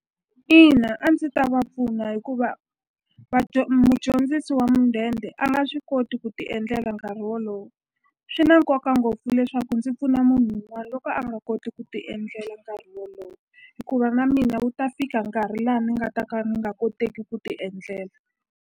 Ina a ndzi ta va pfuna hikuva mudyondzisi wa mudende a nga swi koti ku ti endlela nkarhi wolowo swi na nkoka ngopfu leswaku ndzi pfuna munhu wun'wana loko a nga koti ku ti endlela nkarhi wolowo hikuva na mina wu ta fika nkarhi laha ni nga ta ka ni nga koteki ku ti endlela.